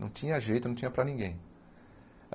Não tinha jeito, não tinha para ninguém.